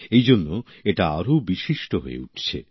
এই জন্য এটা আরও বিশিষ্ট হয়ে উঠছে